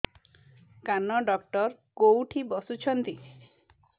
କାନ ଡକ୍ଟର କୋଉଠି ବସୁଛନ୍ତି